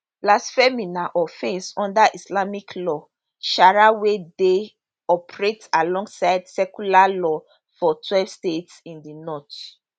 blasphemy na offence under islamic law sharia wey dey operate alongside secular law for twelve states in di north